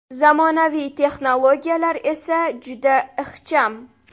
Zamonaviy texnologiyalar esa juda ixcham.